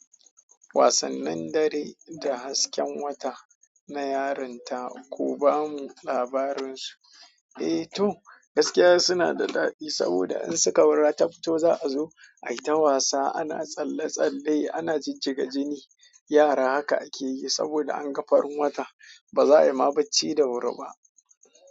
Wasannin dare da hasken wata na yarinta, kuba mu labarinsu. Eh to, gaskiya suna da daɗi saboda in suka wurata fito za a zo ai ta wasa ana tsalle tsalle ana jijjiga jini. Yara haka ake yi saboda an ga farin wata, ba za a yi ma bacci da wuri ba.